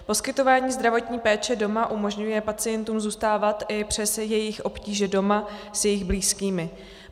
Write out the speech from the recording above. Poskytování zdravotní péče doma umožňuje pacientům zůstávat i přes jejich obtíže doma s jejich blízkými.